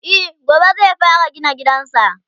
e gobe zai fara gina gidansa